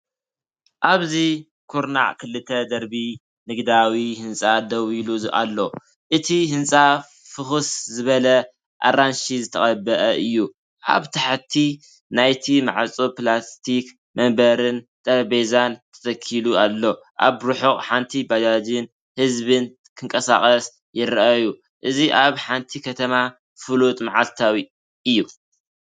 ኣብዚ ኩርናዕ ክልተ ደርቢ ንግዳዊ ህንጻ ደው ኢሉ ኣሎ። እቲ ህንጻ ፍኹስ ዝበለ ኣራንሺ ዝተቐብአ እዩ። ኣብ ታሕቲ ናይቲ ማዕጾ ፕላስቲክ መንበርን ጠረጴዛን ተተኺሉ ኣሎ። ኣብ ርሑቕ ሓንቲ ባጃጅን ህዝብን ክንቀሳቐሱ ይረኣዩ። እዚ ኣብ ሓንቲ ከተማ ፍሉጥን መዓልታዊን እዩ።